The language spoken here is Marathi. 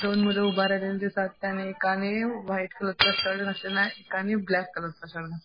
दोन मुलं उभा राहिलेले एकाने व्हाईट कलरचा शर्ट घातलेला एकाने ब्लॅक कलरचा शर्ट घात --